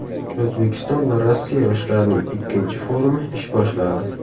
O‘zbekiston va Rossiya yoshlarining ikkinchi forumi ish boshladi.